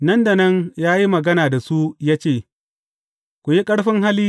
Nan da nan ya yi magana da su ya ce, Ku yi ƙarfin hali!